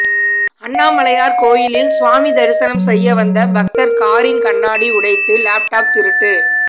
அண்ணாமலையார் கோயிலில் சுவாமி தரிசனம் செய்ய வந்த பக்தர் காரின் கண்ணாடி உடைத்து லேப்டாப் திருட்டு